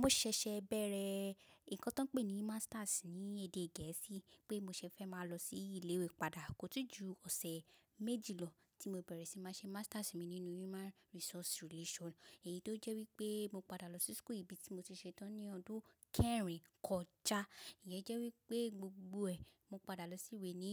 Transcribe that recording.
Mo ṣẹ̀ṣẹ̀ bẹ̀rẹ̀ nǹkan tó ń pè ní masters ní èdè Gẹ̀ẹ́sì pé mo ṣé fẹ́ máa lọ sí ilé ìwé padà kòtíì jù ọ̀sẹ̀ méjì lọ tí mo bẹ̀rẹ̀ sí máa ṣe masters mi nínú Human Resource Relations èyí tó jẹ́ wípé mo padà lọ sí school ibi tí mo ti ṣe tán ní ọdún kẹrin kọjá. Ìyẹn jẹ́ wípé gbogbo ẹ, mo padà lọ sí ìwé ní